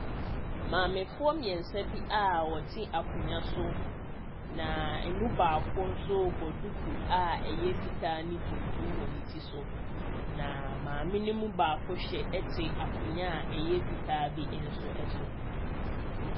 Maame foɔ mmiɛnsa bi a wɔte akonwa so. Na emu baako nso bɔ duku a ɛyɛ fitaa ne tuntum wɔ ne ti so. Naa maame no mu baako ɛte akonwa a ɛyɛ fitaa bi nso ɛso.